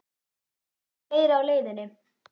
Eru fleiri á leiðinni?